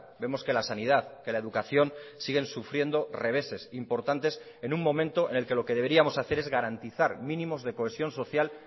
vemos que la sanidad que la educación siguen sufriendo reveses importantes en un momento en el que lo que deberíamos hacer es garantizar mínimos de cohesión social